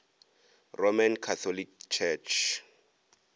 roman catholic church